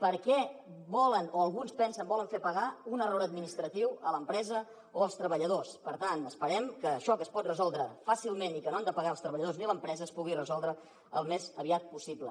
per què volen o alguns pensen que volen fer pagar un error administratiu a l’empresa o als treballadors per tant esperem que això que es pot resoldre fàcilment i que no han de pagar els treballadors ni l’empresa es pugui resoldre al més aviat possible